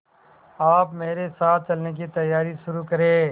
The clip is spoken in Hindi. आप मेरे साथ चलने की तैयारी शुरू करें